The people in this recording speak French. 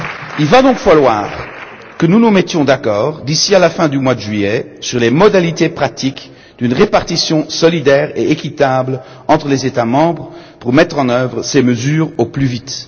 Il va donc falloir que nous nous mettions d'accord, d'ici à la fin du mois de juillet, sur les modalités pratiques d'une répartition solidaire et équitable entre les États membres pour mettre en œuvre ces mesures au plus vite.